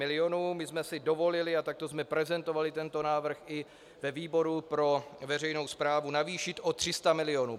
My jsme si dovolili, a takto jsme prezentovali tento návrh i ve výboru pro veřejnou správu, navýšit o 300 milionů.